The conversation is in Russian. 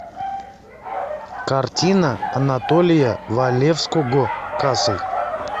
картина анатолия валевского касл